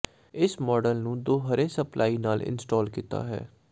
ਇਸ ਮਾਡਲ ਨੂੰ ਦੋ ਹਰੇ ਸਪਲਾਈ ਨਾਲ ਇੰਸਟਾਲ ਕੀਤਾ ਹੈ